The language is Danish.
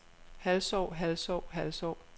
halvsov halvsov halvsov